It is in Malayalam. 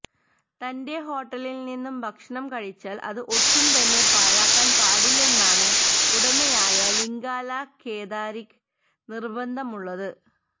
തന്റെ ഹോട്ടലിൽ നിന്നും ഭക്ഷണം കഴിച്ചാൽ അത് ഒട്ടും തന്നെ പാഴാക്കാൻ പാടില്ലെന്നാണ് ഉടമയായ ലിംഗാല കേദാരിക്ക് നിർബന്ധമുള്ളത്